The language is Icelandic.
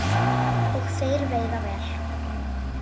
Og þeir veiða vel